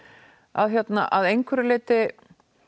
að að einhverju leyti